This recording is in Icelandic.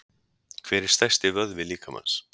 Hver er stærsti vöðvi líkamans?